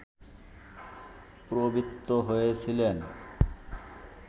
প্রবৃত্ত হয়েছিলেন